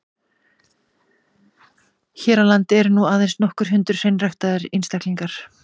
Hér á landi eru nú aðeins nokkur hundruð hreinræktaðra einstaklinga.